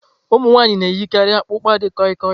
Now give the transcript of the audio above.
Ụmụ nwanyị na-eyikarị akpukpa di koi-koi.